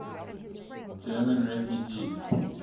german refugees